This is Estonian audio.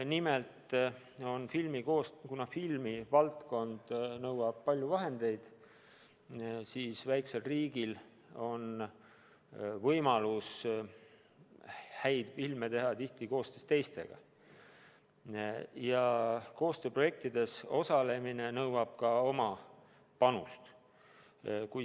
Nimelt, kuna filmivaldkond nõuab palju vahendeid, siis on väikesel riigil võimalus häid filme teha eelkõige koostöös teistega, kuid koostööprojektides osalemine nõuab oma panust.